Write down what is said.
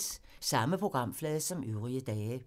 Samme programflade som øvrige dage